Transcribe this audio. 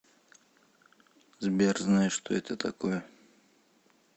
сбер знаешь что это такое